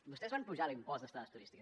vostès van apujar l’impost d’estades turístiques